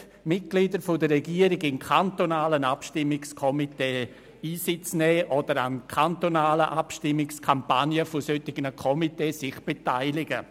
Sollen die Mitglieder der Regierung in kantonalen Abstimmungskomitees Einsitz nehmen oder sich an Abstimmungskampagnen solcher Komitees beteiligen?